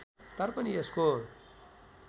तर पनि यसको